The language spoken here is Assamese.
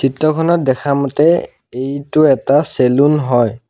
ফটোখনত দেখা মতে এইটো এটা চেলুন হয়।